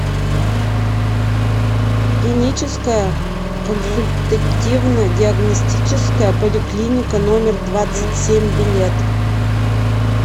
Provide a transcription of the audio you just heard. клиническая консультативно диагностическая поликлиника номер двадцать семь билет